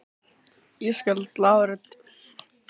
Ég skal glaður tala við hann en hann á að stýra landsliðinu núna.